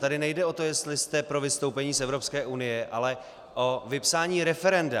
Tady nejde o to, jestli jste pro vystoupení z Evropské unie, ale o vypsání referenda.